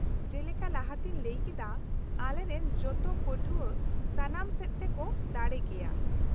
ᱡᱮᱞᱮᱠᱟ ᱞᱟᱦᱟᱛᱮᱧ ᱞᱟᱹᱭ ᱠᱮᱫᱟ , ᱟᱞᱮᱨᱮᱱ ᱡᱚᱛᱚ ᱯᱟᱹᱴᱷᱣᱟᱹ ᱥᱟᱱᱟᱢ ᱥᱮᱫ ᱛᱮᱠᱚ ᱫᱟᱲᱮ ᱜᱮᱭᱟ ᱾